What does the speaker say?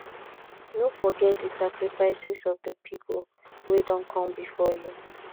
no forget di sacrifices of the pipo wey Accepted come before you